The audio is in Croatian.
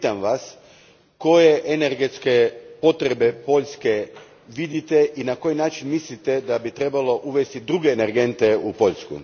Pitam vas koje energetske potrebe Poljske vidite i na koji način mislite da bi trebalo uvesti druge energente u Poljsku?